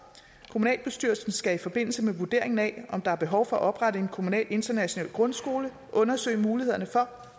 kommunalbestyrelsen skal i forbindelse med vurderingen af om der er behov for at oprette en kommunal international grundskole undersøge mulighederne for